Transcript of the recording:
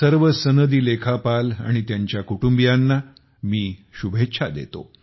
सर्व सनदी लेखापाल आणि त्यांच्या कुटुंबियांना शुभेच्छा देतो